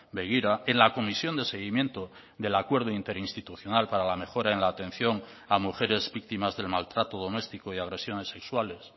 begira en la comisión de seguimiento del acuerdo interinstitucional para la mejora en la atención a mujeres víctimas del maltrato doméstico y agresiones sexuales